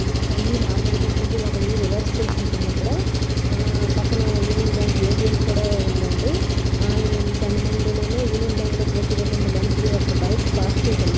ఒక ఇల్లు నార్మల్ గా ఉంటుంది ఒక ఇల్లు రివర్స్ చేసి ఉంటుంది పక్కన యూనియన్ బ్యాంక్ ఏ.టి.ఎమ్. కూడా ఉందండి దాని ముందునేమో యూనియన్ బ్యాంక్ లో కూర్చునటువంటి మనుషులు యొక్క బైక్స్ పార్క్ చేసి ఉన్నాయి.